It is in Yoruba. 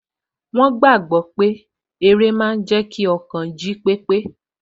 Wọ́n gbàgbọ́ pé eré máa n jẹ́ kí ọkàn jí pépé